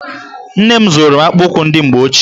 Nne m zụrụ akpụkpọụkwụ ndị mgbe ochie.